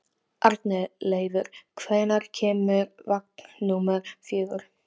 Arnleifur, hvenær kemur vagn númer fjögur?